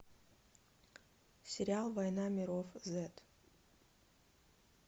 сериал война миров зет